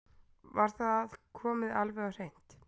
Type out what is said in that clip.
Var það komið alveg á hreint?